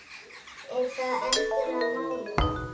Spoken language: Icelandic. Er það endilega málið?